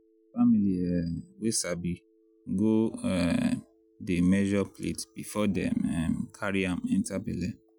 family um wey sabi go um dey measure plate before dem um carry am enter belle.